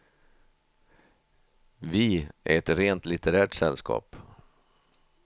Vi är ett rent litterärt sällskap.